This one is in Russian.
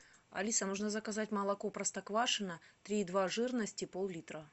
алиса нужно заказать молоко простоквашино три и два жирности поллитра